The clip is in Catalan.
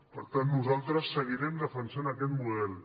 per tant nosaltres seguirem defensant aquest model